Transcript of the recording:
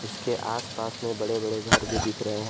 इसके आस पास में बड़े बड़े घर भी दिख रहे हैं।